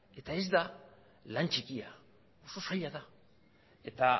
eta ez da lan txikia oso zaila da eta